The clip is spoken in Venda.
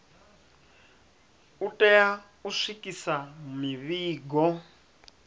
u tea u swikisa mivhigo